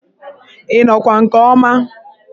Ị nọkwa nke ọma?